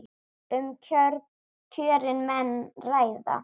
Um kjörin menn ræða.